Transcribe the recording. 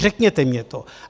Řekněte mně to!